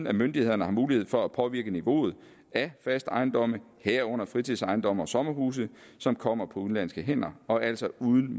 at myndighederne har mulighed for at påvirke niveauet af faste ejendomme herunder fritidsejendomme og sommerhuse som kommer på udenlandske hænder og altså uden